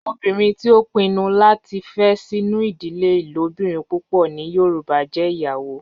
Obinrin ti o pinnu lati fe sinu idile ilobirin pupọ ni yoruba jẹ iyawo